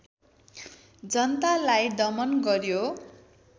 जनतालाई दमन गर्‍यो